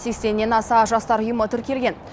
сексеннен аса жастар ұйымы тіркелген